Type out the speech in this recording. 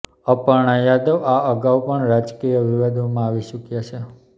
અપર્ણા યાદવ આ અગાઉ પણ રાજકીય વિવાદોમાં આવી ચૂક્યા છે